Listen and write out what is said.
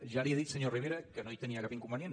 ja li he dit senyor rivera que no hi tenia cap inconvenient